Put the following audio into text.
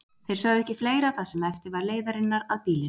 Þeir sögðu ekki fleira það sem eftir var leiðarinnar að býlinu.